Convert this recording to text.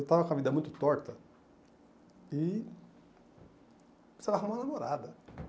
Eu estava com a vida muito torta e precisava arrumar uma namorada.